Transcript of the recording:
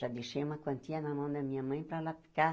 Já deixei uma quantia na mão da minha mãe para ela ficar.